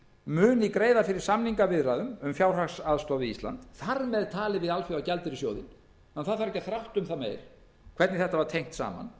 muni greiða fyrir samningaviðræðum um fjárhagsaðstoð við ísland þar með talið við alþjóðagjaldeyrissjóðinn það þarf því ekki að þrátta um það meir hvernig þetta var tengt saman